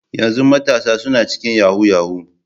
Yanzu matasa suna cikin yahoo yahoo.